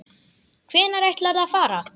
Hvenær ætlarðu að fara?